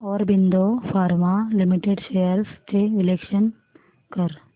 Aurobindo Pharma Limited shares चे विश्लेषण कर